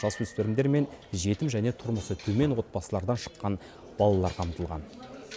жасөспірімдер мен жетім және тұрмысы төмен отбасылардан шыққан балалар қамтылған